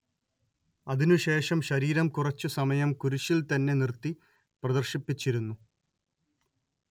അതിനു ശേഷം ശരീരം കുറച്ചു സമയം കുരിശിൽത്തന്നെ നിർത്തി പ്രദർശിപ്പിച്ചിരുന്നു